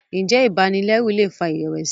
njé ibanilẹru lè fà irẹwẹsi?